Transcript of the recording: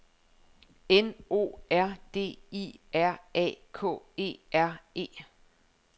N O R D I R A K E R E